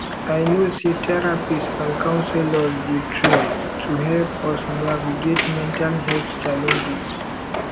i know say therapists and counselors dey trained to help us navigate mental health challenges